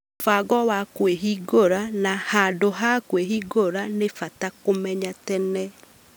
Mũbango wa kwĩhingũra na handũ ha kwĩhingũra nĩ bata kũmenya tene